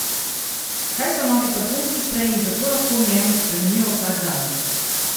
Kaj so novi parfumski spreji in kako lahko njemu spremenijo vsakdan?